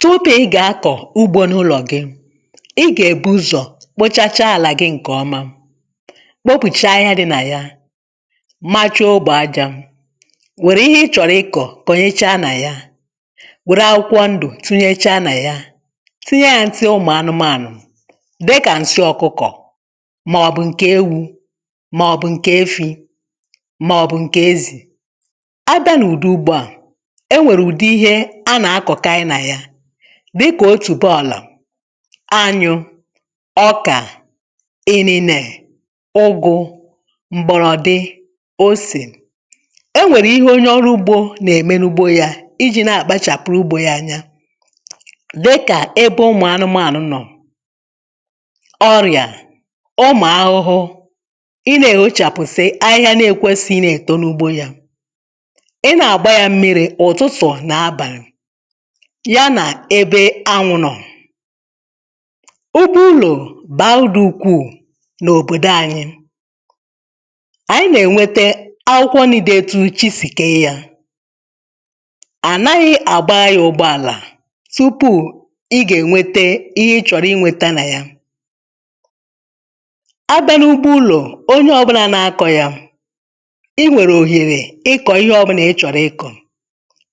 Tupu ị ga-akọ ugbo n’ụlọ gị, ị ga-ebu ụzọ kpochachaa ala gị nke ọma, kpopụchaa ahịhịa dị na ya, machaa ogbo aja, were ihe ị chọrọ ịkọ kọnyechaa na ya, were akwụkwọ ndụ tinyecha na ya, tinye ya nsị ụmụ anụmanụ dịka nsị ọkụkọ ma ọ bụ nke ewu ma ọ bụ nke efi ma ọ bụ nke ezi. Abịa n’ụdị ugbo a, e nwere ụdị ihe a na-akọkai na ya, dịka otubo ala, anyụ, ọka, inine, ụgụ, mgbọrọdị, ose. E nwere ihe onye ọrụ ugbo na-eme n’ugbo ya, iji na-akpachapụrụ ugbo ya anya. Dịka ebe ụmụ anụmanụ nọ, ọrịa, ụmụ ahụhụ, ị na-ehochapụsị ahịhịa na-ekwesighị ị na-eto n’ugbo ya, ị na-agba ya mmiri ụtụtụ na abalị, ya na ebe anwụ nọ. Ugbo ụlọ baa udị ukwuu n’obodo anyị. Anyị na-enwete akwụkwọ nni dị etu chi si kee ya. Anaghị agbara ya ụgbọala tupu ị ga-enwete ihe ị chọrọ ị nweta na ya. Abịa n’ugbo ụlọ, onye ọbụla na-akọ ya, ị nwere ohere ịkọ ihe ọbụla ị chọrọ ịkọ,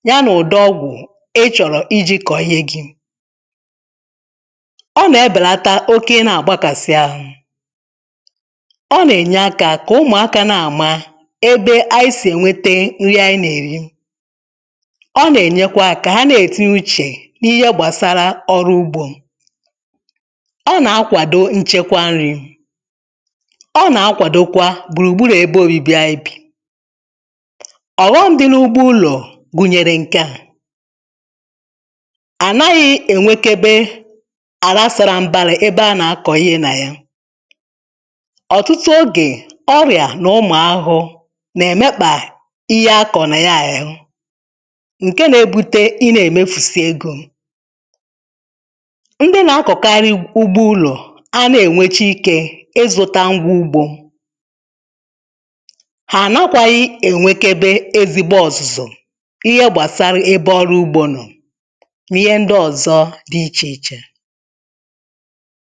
ya na ụdị ọgwụ ị chọrọ iji kọọ ihe gị. Ọ na-ebelata oke ị na-agbakasị ahụ. Ọ na-enye aka ka ụmụaka na-ama ebe anyị si enwete nri anyị na-eri. Ọ na-enyekwa aka ka ha na-etinye uche n’ihe gbasara ọrụ ugbo. Ọ na-akwado nchekwa nri. Ọ na-akwadokwa gburugburu ebe obibi anyị bi. Ọghọm dị n’ugbo ụlọ gụnyre nke a; anaghị enwekebe ala sara mbara ebe a na-akọ ihe na ya. Ọtụtụ oge, ọrịa na ụmụ ahụhụ na-emekpa ihe a kọrọ na ya ehụ, nke na-ebute ị na-emefusi ego. Ndị na-akọkarị ugbo ụlọ anahgị enwecha ike ị zụta ngwa ugbo. Ha anakwaghị enwekebe ezigbo ọzụzụ, ihe gbasara ebe ọrụ ugbo nọ na ihe ndị ọzọ dị iche iche